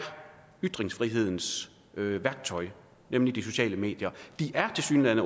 ytringsfrihedens værktøj nemlig de sociale medier tilsyneladende